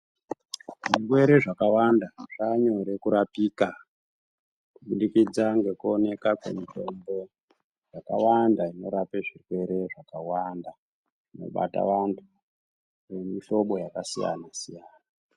Zvirwere zvakawanda zvaanyore kurapika kubudikidza ngekuoneka kwemitombo yakawanda inorape zvirwere zvakawanda zvinobata vantu vemihlobi yakasiyana siyana.